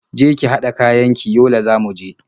Je ki haɗa kayan ki, Yola za mu je.